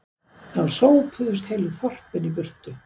Þá sópuðust heilu þorpin í burtu